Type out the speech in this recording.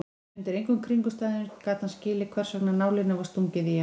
Undir engum kringumstæðum gat hann skilið hversvegna nálinni var stungið í hann.